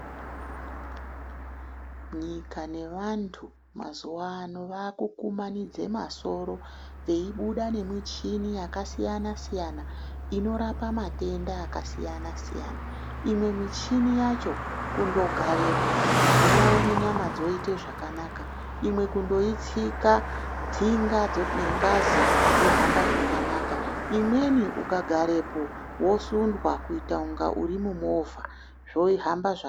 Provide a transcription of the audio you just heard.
Nyika nevantu mazuwaano vakukumanidza masoro, veyibuda nemichini yasiyana-siyana, inorapa matenda akasiyana-siyana, imwe michini yacho kundogarepo, unoona nyama dzoyite zvakanaka, imwe kundoyitsika tsinga nengazi zvohamba zvakanaka, imweni ukagarepo wosundwa kuyitaunga uri mumovha, zvohamba zvakanaka.